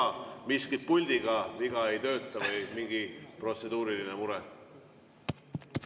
Teil ka miskit puldiga viga, ei tööta, või mingi protseduuriline mure?